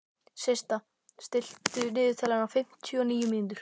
Systa, stilltu niðurteljara á fimmtíu og níu mínútur.